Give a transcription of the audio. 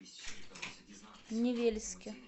невельске